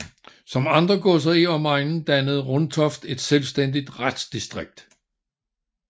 Som andre godser i omegnen dannede Runtoft et selvstændigt retsdistrikt